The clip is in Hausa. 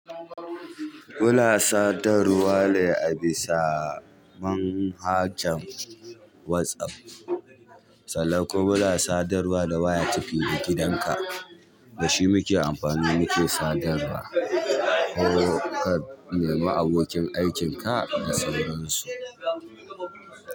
Muna sadarwa ne a bisa manhajan WhatsApp. Sannan kuma muna sadarwa da waya tafida gidan ka. Da shi muke amfani muke sadarwa ko ka bi ma abokin aikin ka da sauransu.